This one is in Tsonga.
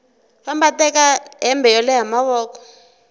famba teka hembe yo leha mavoko